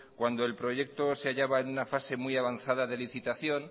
cuando el proyecto se hallaba en una fase muy avanzada de licitación